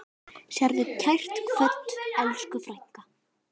Sértu kært kvödd, elsku frænka.